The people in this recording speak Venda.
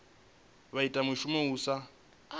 vha ita mushumo u sa